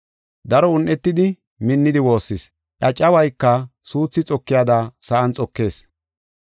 Daro un7etidi minnidi woossees. Iya cawayka suuthi xokiyada sa7an xokees.